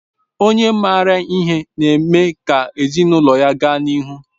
Okenye maara ihe na-eme ka ezinụlọ ga n'ihu